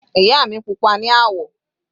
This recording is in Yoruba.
Ìyá mi pupa ní àwọ̀.